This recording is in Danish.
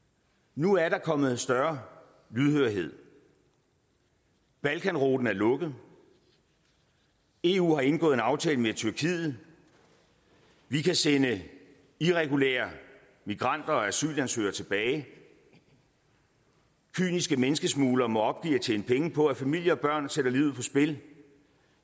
nu er der kommet større lydhørhed balkanruten er lukket eu har indgået en aftale med tyrkiet vi kan sende irregulære migranter og asylansøgere tilbage kyniske menneskesmuglere må opgive at tjene penge på at familier og børn sætter livet på spil